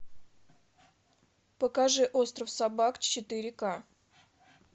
покажи остров собак четыре ка